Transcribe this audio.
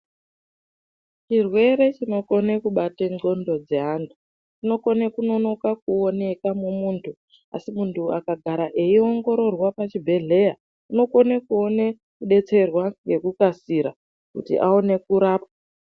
Chirwere chinokona kubate ngonxo dzeantu Kona kuoneka mumuntu akagara eiongororwa muzvibhedhlera unokona kuona kudetserwa nekukasira kuti aone kurapwa.